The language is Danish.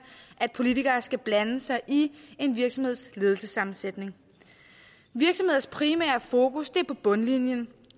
at politikere skal blande sig i en virksomheds ledelsessammensætning virksomheders primære fokus er på bundlinjen